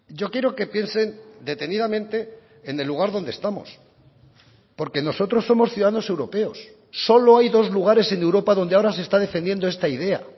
yo quiero que piensen detenidamente en el lugar donde estamos porque nosotros somos ciudadanos europeos solo hay dos lugares en europa donde ahora se está defendiendo esta idea